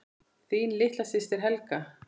Þín litla systir, Helga.